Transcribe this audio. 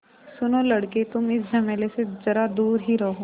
सुनो लड़के तुम इस झमेले से ज़रा दूर ही रहो